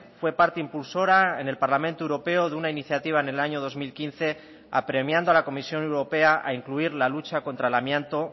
fue parte impulsora en el parlamento europeo de una iniciativa en el año dos mil quince apremiando a la comisión europea a incluir la lucha contra el amianto